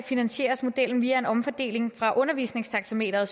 finansieres modellen via en omfordeling fra undervisningstaxameteret